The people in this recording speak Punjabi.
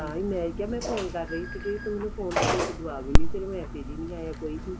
ਤਾਹੀਂ ਮੈਂ ਕਿਹਾ ਮੈਂ phone ਕਰ ਰਹੀ ਸੀਗੀ ਤੂੰ ਮੈਨੂੰ phone ਦਾ ਕੋਈ ਜਵਾਬ ਹੀ ਨਹੀਂ ਦਿੱਤਾ ਤੇਰਾ message ਈ ਨੀ ਆਇਆ ਕੋਈ ਵੀ